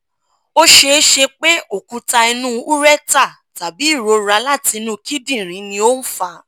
o ṣeese pe okuta inu ureter tabi irora lati inu kidinrin ni o n fa